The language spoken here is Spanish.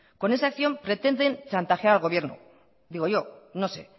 con esa acción pretenden chantajear al gobierno digo yo no sé